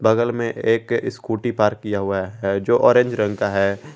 बगल में एक स्कूटी पार्क किया हुआ है जो ऑरेंज रंग का है।